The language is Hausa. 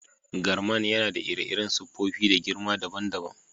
Garman yana da ire-iren siffofi da girma dabban-dabban.